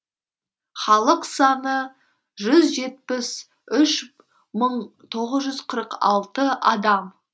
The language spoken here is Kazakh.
халық саны жүз жетпіс үш мың тоғыз жүз қырық алты адам